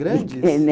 Grandes? Pequenas